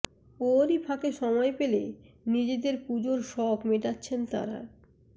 ওরই ফাঁকে সময় পেলে নিজেদের পুজোর সখ মেটাচ্ছেন তাঁরা